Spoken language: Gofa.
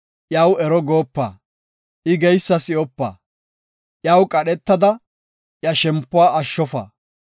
iyaw ero goopa; I geysa si7opa. Iyaw qadhetada iya shempuwa ashshofa;